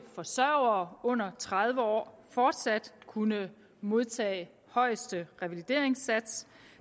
forsørgere under tredive år fortsat kunne modtage højeste revalideringssats